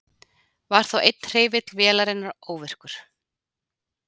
Var þá einn hreyfill vélarinnar óvirkur